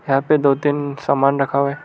यहां पे दो तीन सामान रखा हुआ --